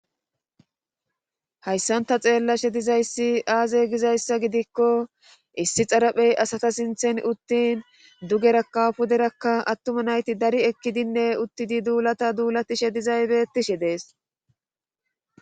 haysan ta xeellashe dizayssi aaze gizayssa gidikko issi xerephe asatha sinthen uttin dugerakka puderakka attuma na7iti dari ekkidinne uttidi duulata duulatishe dizay beettishe de7ees.